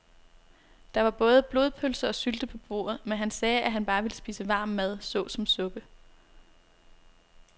Der var både blodpølse og sylte på bordet, men han sagde, at han bare ville spise varm mad såsom suppe.